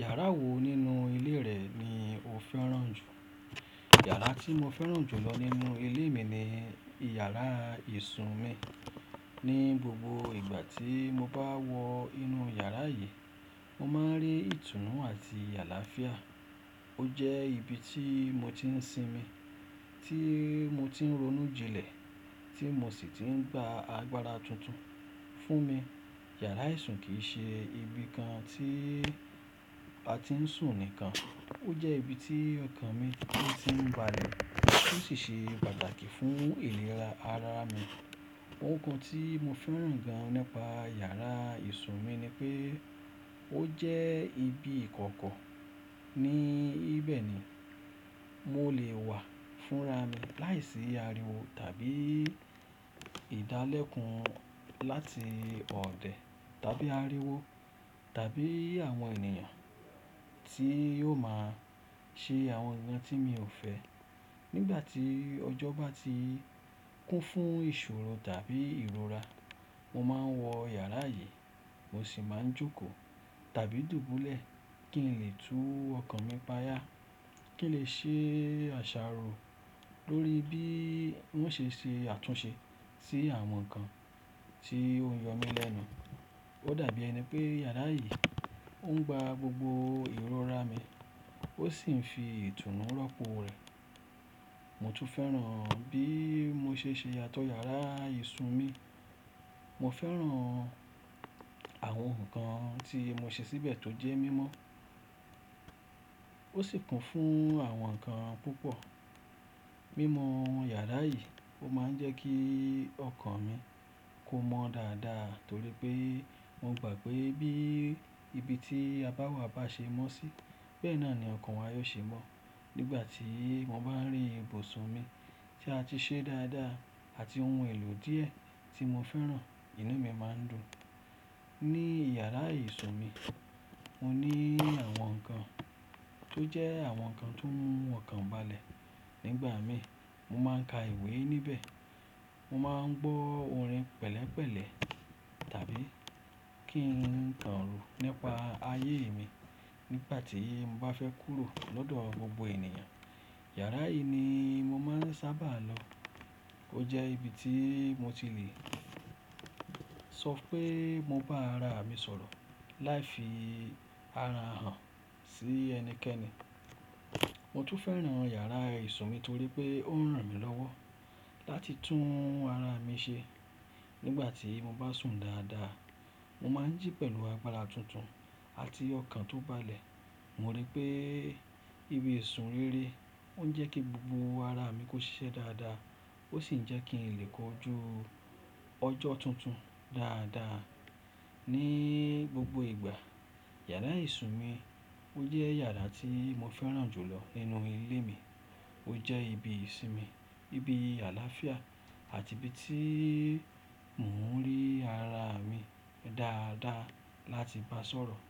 Yàrá wo nínú ilé rẹ̀ ni ó fẹ́ràn jù? iYàrá tí mo fẹ́ràn jù lọ nínú ilé mi ni yàrá ìsun mi. Ni gbogbo ìgbà tí mo bá wọ inú yàrá yìí, mo máa ń rí ìtùnú àti àlàáfíà. Ó jẹ́ ibi tí mo ti ń sinmi, tí mo ti ń ronú jinlẹ̀, tí mo sì ti ń gba agbára tuntun fún mi. iYàrá ìsun kì í ṣe ibi kan tí a ti ń sùn nìkan, ó jẹ́ ibi tí ọkàn mi ti ń balẹ̀ tó sì ṣe pàtàkì fún ìlera ara mi. Ohun kan tí mo fẹ́ràn gan an nípa yàrá ìsun mi ni pé ó jẹ́ ibi ìkọ̀kọ̀, níbẹ̀ ni mo lè wà fúnra mi láìsí ariwo tàbí ìdálẹ́kun láti ọ̀dẹ̀ tàbí ariwo tàbí àwọn ènìyàn tí yóò máa ṣe àwọn ǹkan tí mi ò fẹ́. Nígbà tí ọjọ́ bá ti kún fún ìṣòro tàbí ìrora, mo máa ń wọ yàrá yìí, mo sì máa ń jókòó tàbí dùbúlẹ̀ kí n lè tú ọkàn mi páyà, kí n lè ṣe àṣàrò lórí bí mó ṣe ṣe àtúnṣe sí àwọn ǹkan tí ó ń yọ mí lẹ́nu. Ó dàbí ẹni pé yàrá yìí ó ń gba gbogbo ìrora mi, ó sì ń fi ìtùnú rọ́pò rẹ̀. Mo tún fẹ́ràn bí mo ṣe ṣe àtọ yàrá ìsun mi. Mo fẹ́ràn àwọn ǹkan tí mo ṣe síbẹ̀ tó jẹ́ mímọ́, ó sì kún fún àwọn ǹkan púpọ̀. Mímọ yàrá yìí ó máa ń jẹ́ kí ọkàn mi kó mọ́ dáadáa torí pé mo gbà pé bí ibi tí a bá wà bá ṣe mọ́ sí, bẹ́ẹ̀ náà ni ọkàn wa yóò ṣe mọ́. Nígbà tí mo bá ń rí ibùsùn mi tí a ti ṣe dáadáa àti ohun èlò díẹ̀ tí mo fẹ́ràn, inú mi máa ń dùn. Ni iyàrá ìsun mi, mo ní àwọn ǹkan tó jẹ́ àwọn ǹkan tó mú ọkàn balẹ̀. Nígbà mìíràn, mo máa ń ka ìwé níbẹ̀, mo máa ń gbọ́ orin pẹ̀lẹ́pẹ̀lẹ́ tàbí kí n kànro nípa ayé mi. Nígbà tí mo bá fẹ́ kúrò lọ́dọ̀ gbogbo ènìyàn, yàrá yìí ni mo máa ń sábà lọ. Ó jẹ́ ibi tí mo ti lè sọ pé mo bá ara mi sọ̀rọ̀ láì fi ara hàn sí ẹnikẹ́ni. Mo tún fẹ́ràn yàrá ìsun mi torí pé ó ń ràn mí lọ́wọ́ láti tún ara mi ṣe. Nígbà tí mo bá sùn dáadáa, mo máa ń jí pẹ̀lú agbára tuntun àti ọkàn tó balẹ̀. Mo rí pé ìbi ìsun rere ó ń jẹ́ kí gbogbo ara mi kó ṣiṣẹ́ dáadáa, ó sì ń jẹ́ kí n lè kọjú ọjọ́ tuntun dáadáa ní gbogbo ìgbà. Yàrá ìsun mi ó jẹ́ yàrá tí mo fẹ́ràn jù lọ nínú ilé mi. Ó jẹ́ ibi ìsinmi, ibi àlàáfíà àti ibi tí mò ń rí ara mi dáadáa láti bá sọ̀rọ̀.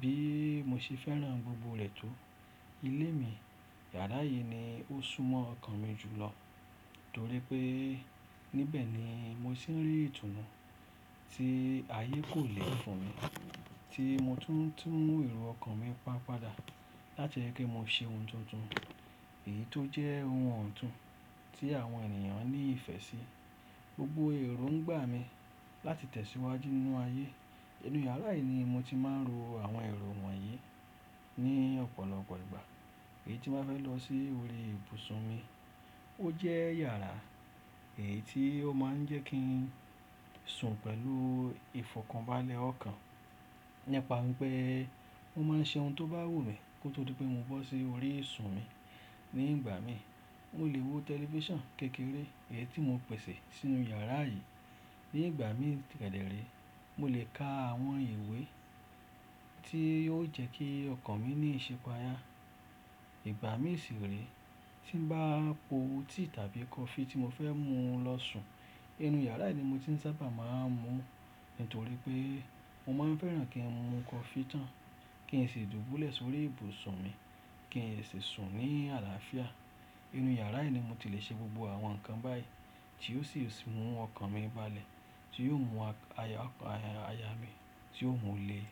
Bí mo ṣe fẹ́ràn gbogbo rẹ̀ tó, ilé mi, yàrá yìí ni ó súnmọ́ ọkàn mi jù lọ torí pé níbẹ̀ ni mo sì ń rí ìtùnú tí ayé kò lè fún mi tí mo tún ń mú èrò ọkàn mi pa padà láti yẹ kí mo ṣe ohun tuntun, èyí tó jẹ́ ohun ọ̀tún tí àwọn ènìyàn ní ìfẹ́ sí. Gbogbo èrò ń gbà mí láti tẹ̀síwájú nínú ayé. Inú yàrá yìí ni mo ti máa ń ro àwọn èrò wọ̀nyí ní ọ̀pọ̀lọpọ̀ ìgbà èyí tí mo bá fẹ́ lọ sí orí ìbùsùn mi. Ó jẹ́ iyàrá èyí tí ó máa ń jẹ́ kí n sùn pẹ̀lú ìfọ̀kànbalẹ̀ ọkàn. Nípa wi pé mo máa ń ṣe ohun tó bá wù mí kó tó di pé mo bọ́ sí orí ìsun mi. Nígbà mí, mo lè wo tẹlifíṣàn kékeré èyí tí mo pẹ̀sẹ̀ sínú yàrá yìí. Nígbà mí kẹ̀dére, mo lè ka àwọn ìwé tí yóò jẹ́ kí ọkàn mi ní ìṣépa ayá. Ìgbà mí ṣiré tí mo bá po tea tàbí kọfí tí mo fẹ́ mú lọ sùn, inú yàrá yìí ni mo ti ń sábà máa ń mú nítorí pé mo máa ń fẹ́ràn kí n mu kọfí tán kí n sì dùbúlẹ̀ sórí ìbùsùn mi kí n sì sùn ní àlàáfíà. Inú yàrá yìí ni mo ti lè ṣe gbogbo àwọn ǹkan báyìí tí ó sì mú ọkàn mi balẹ̀ tí yóò mú aya ọkàn aya mi tí ó mú le.